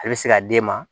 A bɛ se ka den ma